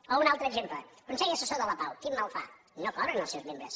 o un altre exemple el consell assessor de la pau quin mal fa no cobren els seus membres